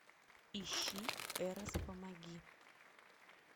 ищи эрос помоги